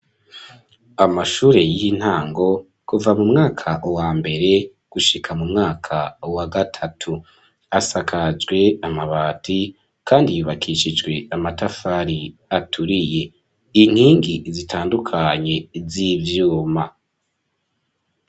Amashure y'intango kuva mu mwaka wa mbere gushika mu mwaka wa gatatu. Asakajwe amabati kandi yubakishijwe amatafari aturiye inkingi zitandukanye z'ivyuma.